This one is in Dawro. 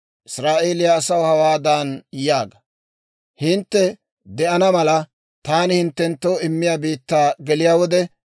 «Israa'eeliyaa asaw hawaadan yaaga; ‹Hintte de'ana mala, taani hinttenttoo immiyaa biittaa geliyaa wode,